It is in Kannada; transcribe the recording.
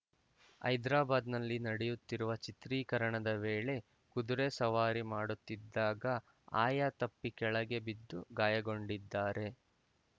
ಹೈದ್ರಾಬಾದ್‌ನಲ್ಲಿ ನಡೆಯುತ್ತಿರುವ ಚಿತ್ರೀಕರಣದ ವೇಳೆ ಕುದುರೆ ಸವಾರಿ ಮಾಡುತ್ತಿದ್ದಾಗ ಆಯ ತಪ್ಪಿ ಕೆಳಗೆ ಬಿದ್ದು ಗಾಯಗೊಂಡಿದ್ದಾರೆ